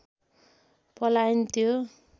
पलाइन त्यो